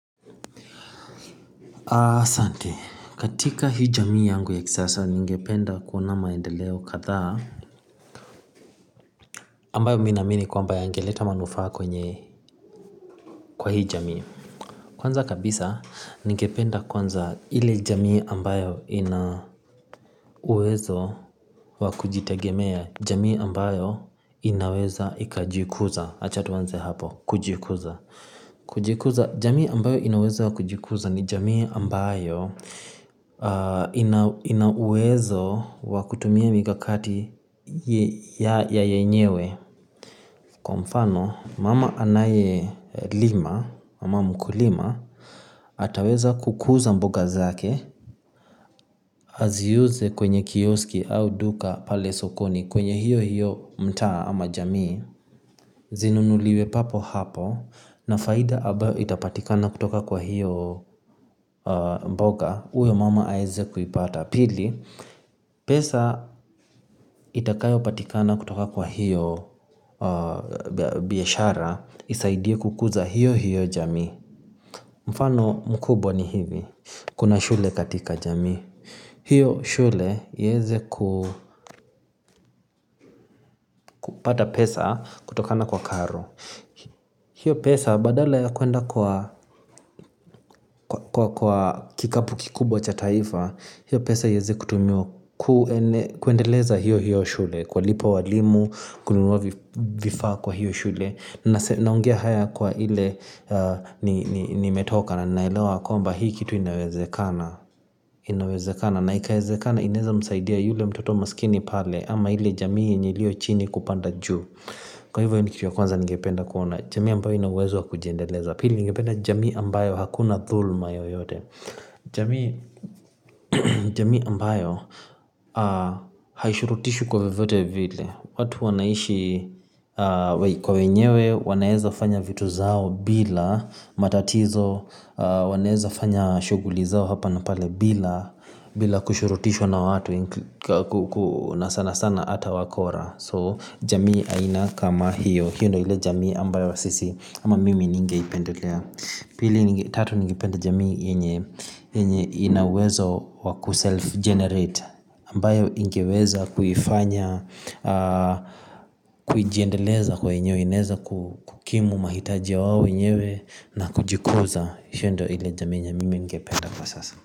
Asante, katika hii jamii yangu ya kisasa ningependa kuona maendeleo kadhaa. Ambayo mimi naamini kwamba yangeleta manufaa kwenye, kwa hii jamii. Kwanza kabisa ningependa kwanza ile jamii ambayo ina uwezo, wakujitegemea. Jamii ambayo inaweza ikajikuza achatuanze hapo, kujikuza. Kujikuza jamii ambayo inaweza wakujikuza ni jamii ambayo, inauwezo wa kutumia mikakati ya yenyewe. Kwa mfano, mama anaye lima, mama mkulima, ataweza kukuza mboga zake. Aziuze kwenye kioski au duka pale sokoni kwenye hiyo hiyo mtaa ama jamii, zinunuliwe papo hapo. Na faida abayo itapatikana kutoka kwa hiyo mboga uyo mama aweze kuipata. Pili, pesa itakayopatikana kutoka kwa hiyo biashara, isaidie kukuza hiyo hiyo jamii. Mfano mkubwa ni hivi, kuna shule katika jamii. Hiyo shule iweze ku, kupata pesa kutokana kwa karo. Hiyo pesa badala ya kwenda kwa kikapu kikubwa cha taifa, hiyo pesa iweze kutumiwa kuendeleza hiyo hiyo shule, kuwalipa walimu, kununuwa vifaa kwa hiyo shule, naonge haya kwa ile, nimetoka na ninaelewa kwamba hii kitu inaweze kana. Naikawezekana, inaweza msaidia yule mtoto masikini pale, ama ile jamii nilio chini kupanda juu. Kwa hivyo hichi cha kwanza ningependa kuona jamii ambayo inauwezo wa kujiendeleza. Pili ningependa jamii ambayo hakuna dhulma yoyote. Jamii ambayo haishurutishu kwa vyovyote vile. Watu wanaishi kwa wenyewe wanaweza fanya vitu zao bila matatizo. Wanaweza fanya shughuli zao hapa na pale bila, bila kushurutishwa na watu na sana sana hata wakora. So jamii aina kama hiyo hiyo ndo ile jamii ambayo sisi ama mimi ningeipendelea. Pili tatu ningependa jamii yenye inauwezo wakuself generate. Ambayo ingeweza kuifanya, kujiendeleza kwenyewe inaweza kukimu mahitajia ya wao wenyewe na kujikuza. Hiyo ndo ile jamii yenye mimi ningependa kwa sasa.